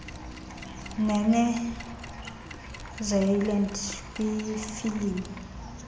nenew zealand kwiifilimu